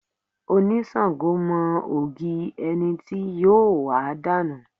Onisango mọ ògì ẹni tí yóò wà dànù.